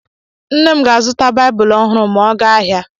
Nne m ga-azụta Baịbụl ọhụrụ ma ọ gaa ahịa.